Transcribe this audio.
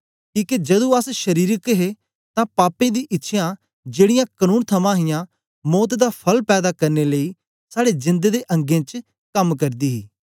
किके जदू अस शरीरक हे तां पापें दी इच्छ्यां जेड़ीयां कनून थमां हियां मौत दा फल पैदा करने लेई साड़े जेंद दे अंगें च कम करदी ही